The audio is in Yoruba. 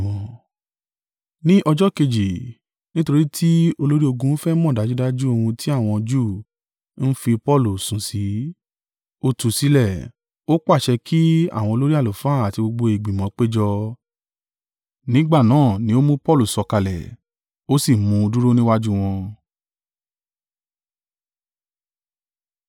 Ní ọjọ́ kejì, nítorí tí olórí ogun fẹ́ mọ̀ dájúdájú ohun tí àwọn Júù ń fi Paulu sùn sí, ó tú u sílẹ̀, ó pàṣẹ kí àwọn olórí àlùfáà àti gbogbo ìgbìmọ̀ péjọ, nígbà náà ni ó mú Paulu sọ̀kalẹ̀, ó sì mú un dúró níwájú wọn.